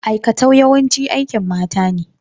Aikatau yawanci aikin mata ne.